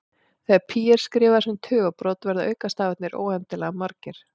Þegar pí er skrifað sem tugabrot verða aukastafirnir óendanlega margir.